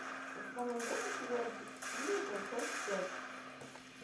у тебя найдется сериальчик клиника часть пять